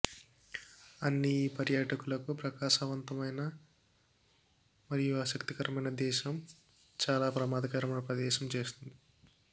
అన్ని ఈ పర్యాటకులకు ప్రకాశవంతమైన మరియు ఆసక్తికరమైన దేశం చాలా ప్రమాదకరమైన ప్రదేశం చేస్తుంది